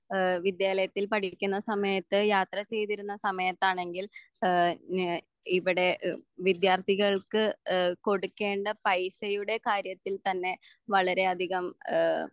ഏഹ് വിദ്യാലയത്തിൽ പഠിക്ക്ണ സമയത്ത് യാത്ര ചെയ്തിരുന്ന സമയത്താണെങ്കിൽ എഹ് ഞാ ഇവിടെ ഇഹ് വിദ്യാർത്ഥികൾക്ക് എഹ് കൊടുക്കേണ്ട പൈസയുടെ കാര്യത്തിൽ തന്നെ വളരെ അധികം ഏഹ്